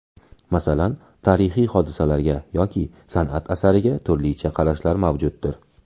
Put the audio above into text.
Masalan, tarixiy hodisalarga yoki san’at asariga turlicha qarashlar mavjuddir.